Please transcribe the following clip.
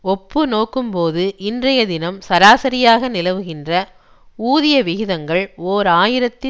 ஒப்பு நோக்கும்போது இன்றைய தினம் சராசரியாக நிலவுகின்ற ஊதிய விகிதங்கள் ஓர் ஆயிரத்தி